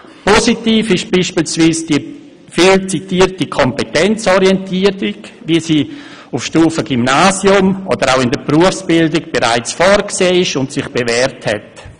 21. Positiv ist beispielsweise die viel zitierte Kompetenzorientierung, wie sie auf Stufe Gymnasium oder auch in der Berufsbildung bereits vorgesehen ist und sich bewährt hat.